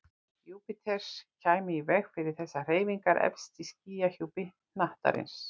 Júpíters kæmi í veg fyrir þessar hreyfingar efst í skýjahjúpi hnattarins.